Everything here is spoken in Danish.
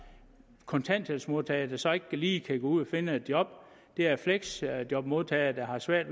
kontanthjælpsmodtagere der så ikke lige kan gå ud og finde et job det er fleksjobmodtagere der har svært